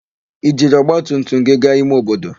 I jiri ọgbatumtum gị gaa ime obodo?